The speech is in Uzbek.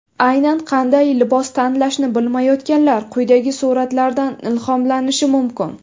Aynan qanday libos tanlashni bilmayotganlar quyidagi suratlardan ilhomlanishi mumkin.